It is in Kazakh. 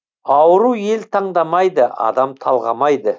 ауру ел таңдамайды адам талғамайды